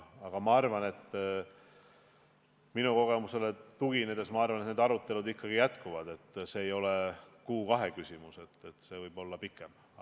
Aga oma kogemusele tuginedes arvan ma, et need arutelud ikkagi jätkuvad, see ei ole kuu või kahe küsimus, see võib kesta pikemalt.